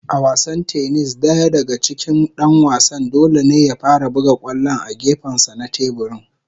A wasan tennis .Daya daga cikin Dan wasan dole ne ya fara buga kwallon a gefensa na teburin.